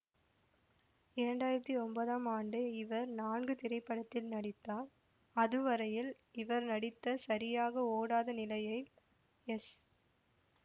இரண்டாயிரத்தி ஒன்பதாம் ஆன்டு இவர் நான்கு திரைப்படத்தில் நடித்தார் அதுவரையில் இவர் நடித்த சரியாக ஒடாத நிலையைல் எஸ்